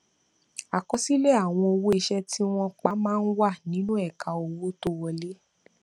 àkọsílẹ àwọn owó iṣẹ tí wọn pà má n wà nínú ẹka owó tó wọlé